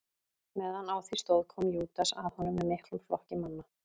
Meðan á því stóð kom Júdas að honum með miklum flokki manna.